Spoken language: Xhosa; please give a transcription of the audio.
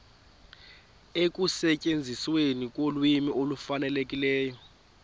ekusetyenzisweni kolwimi olufanelekileyo